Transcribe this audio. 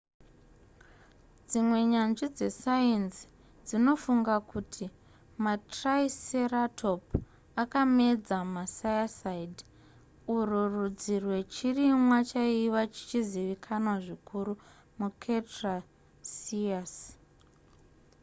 dzimwe nyanzvi dzesainzi dzinofunga kuti matriceratop akamedza macycad urwu rudzi rwechirimwa chaive chichizikanwa zvikuru mucretaceous